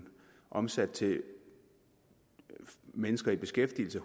omsat til mennesker i beskæftigelse